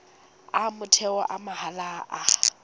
a motheo a mahala a